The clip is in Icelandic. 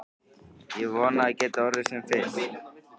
Ég vona að það geti orðið sem fyrst.